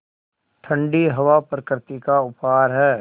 ठण्डी हवा प्रकृति का उपहार है